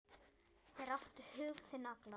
Þeir áttu hug þinn allan.